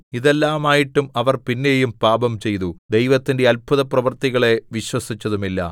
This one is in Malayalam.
ഇതെല്ലാമായിട്ടും അവർ പിന്നെയും പാപംചെയ്തു ദൈവത്തിന്റെ അത്ഭുതപ്രവൃത്തികളെ വിശ്വസിച്ചതുമില്ല